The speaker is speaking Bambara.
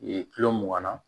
kilo mugan na